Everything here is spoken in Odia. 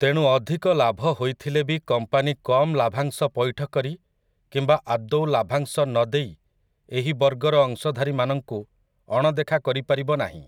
ତେଣୁ ଅଧିକ ଲାଭ ହୋଇଥିଲେ ବି କମ୍ପାନୀ କମ୍ ଲାଭାଂଶ ପୈଠ କରି କିମ୍ବା ଆଦୌ ଲାଭାଂଶ ନ ଦେଇ ଏହି ବର୍ଗର ଅଂଶଧାରୀମାନଙ୍କୁ ଅଣଦେଖା କରିପାରିବ ନାହିଁ ।